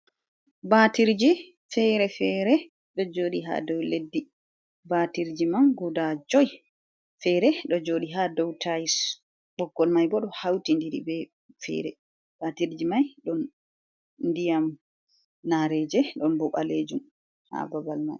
Ɓatirji fere-fere ɗo joɗi ha ɗow leɗɗi. Ɓatirji man guda joi fere ɗo joɗi ha ɗow tayis ɓokkol mai ɓo ɗo hauti diri be fere batirji mai ɗo ndiyam nareje ɗon ɓo balejum ha babal mai.